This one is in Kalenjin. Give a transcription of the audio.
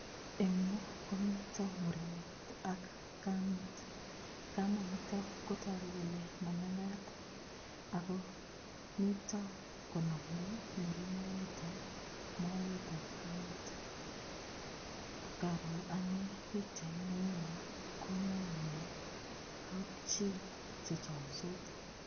Eng' yu komito murenet ak kamet kamanito kotoku kole mamakat ako mito konomei murenonito moetab kamet ngaro ane pikchait neu ni kononwo kapchi chechomsot